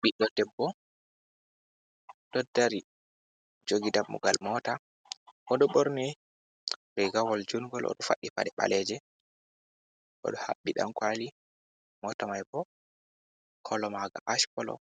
Ɓidfo Debbo ɗo dari Jogi Dammugal Mota, oɗo ɓorni Regawol jungol, oɗo fadɗi Paɗe ɓaleje oɗo Habɓi Ɗankwali, Mota mai bo kolo Maaga Ash kolo